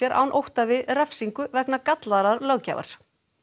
án ótta við refsingu vegna gallaðrar löggjafar